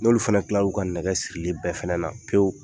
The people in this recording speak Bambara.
N'olu fɛnɛ kilar'u ka nɛgɛ sirili bɛɛ fɛnɛ na pewu,